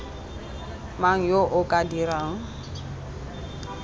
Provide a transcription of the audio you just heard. mang yo o ka dirang